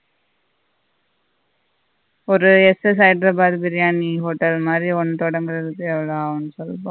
ஒரு ஹைதராபாத் பிரியாணி hotel மாதி ஒண்டு தொடங்குறத்துக்கு எவ்வளவு ஆகும் சொல்லு பார்ப்போம்